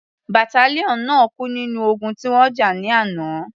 Battalion náà kú nínú ogun tí wọ́n jà ní àná.